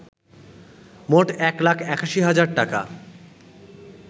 মোট ১ লাখ ৮১ হাজার টাকা